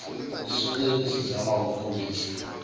isuke isizama ukukhulisa